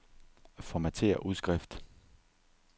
Formatér udskrift.